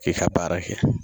I ka baara kɛ